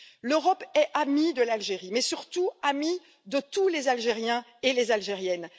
L'Europe est amie de l'Algérie mais surtout amie de tous les Algériens et de toutes les Algériennes.